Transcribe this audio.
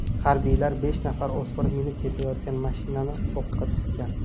Harbiylar besh nafar o‘smir minib ketayotgan mashinani o‘qqa tutgan.